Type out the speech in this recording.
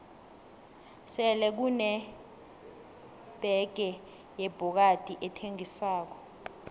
sele kune bege yebhokadi ethengiswako